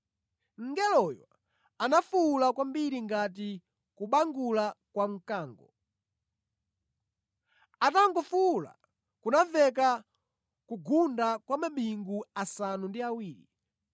Mngeloyo anafuwula kwambiri ngati kubangula kwa mkango. Atangofuwula, kunamveka kugunda kwa mabingu asanu ndi awiri.